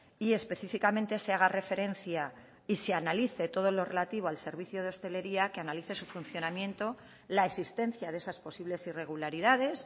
y específicamente se haga referencia y se analice todo lo relativo al servicio de hostelería que analice su funcionamiento la existencia de esas posibles irregularidades